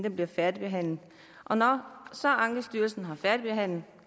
at blive færdigbehandlet og når så ankestyrelsen har færdigbehandlet